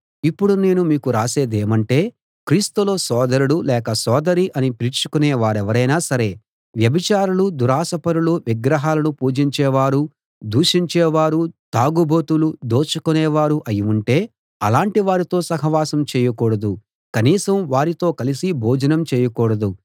ఇప్పుడు నేను మీకు రాసేదేమంటే క్రీస్తులో సోదరుడు లేక సోదరి అని పిలిపించుకొనే వారెవరైనా సరే వ్యభిచారులూ దురాశపరులూ విగ్రహాలను పూజించేవారూ దూషించేవారూ తాగుబోతులూ దోచుకునే వారూ అయి ఉంటే అలాటి వారితో సహవాసం చేయకూడదు కనీసం వారితో కలిసి భోజనం చేయకూడదు